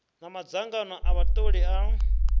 na madzangano a vhatholi a